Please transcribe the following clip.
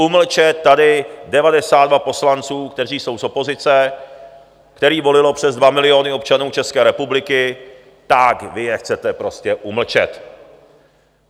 Umlčet tady 92 poslanců, kteří jsou z opozice, který volilo přes dva miliony občanů České republiky, tak vy je chcete prostě umlčet.